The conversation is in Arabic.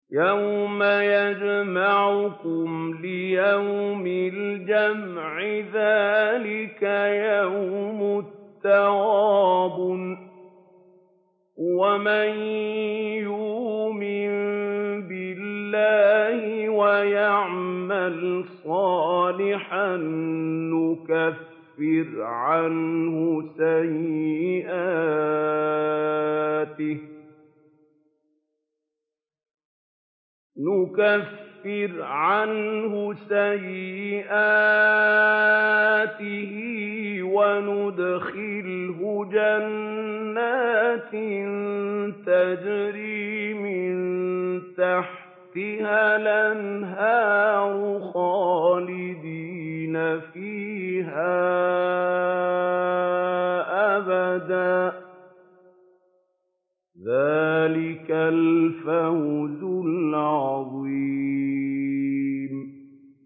يَوْمَ يَجْمَعُكُمْ لِيَوْمِ الْجَمْعِ ۖ ذَٰلِكَ يَوْمُ التَّغَابُنِ ۗ وَمَن يُؤْمِن بِاللَّهِ وَيَعْمَلْ صَالِحًا يُكَفِّرْ عَنْهُ سَيِّئَاتِهِ وَيُدْخِلْهُ جَنَّاتٍ تَجْرِي مِن تَحْتِهَا الْأَنْهَارُ خَالِدِينَ فِيهَا أَبَدًا ۚ ذَٰلِكَ الْفَوْزُ الْعَظِيمُ